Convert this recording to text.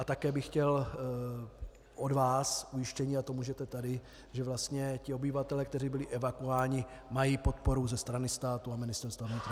A také bych chtěl od vás ujištění, a to můžete tady, že vlastně ti obyvatelé, kteří byli evakuováni, mají podporu ze strany státu a Ministerstva vnitra.